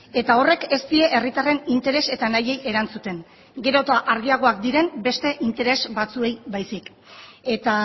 eta horrek ez die herritarren interes eta nahiei erantzuten gero eta argiagoak diren beste interes batzuei baizik eta